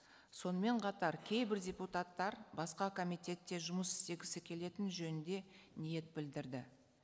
сонымен қатар кейбір депутаттар басқа комитетте жұмыс істегісі келетіні жөнінде ниет білдірді